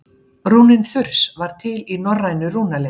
Rúnin þurs var til í norrænu rúnaletri.